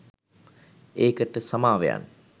ඒකට සමාවෙයන්